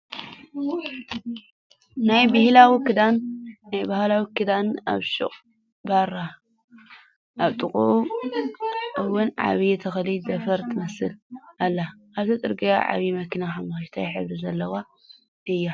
ናይ ብሃላዊ ክዳን ኣብ ሽቅ ባራ ኣብ ጥቅኡ እውንዓባይ ተክሊ ዘፋር ትመስል ኣላ። ኣብቲ ፅርግያ ዓባይ መኪና ሓሞክሽታይ ሕብሪ ዘለዋ እያ።